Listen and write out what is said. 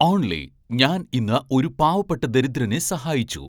only ഞാൻ ഇന്ന് ഒരു പാവപ്പെട്ട ദരിദ്രനെ സഹായിച്ചു